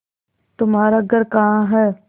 तुम्हारा घर कहाँ है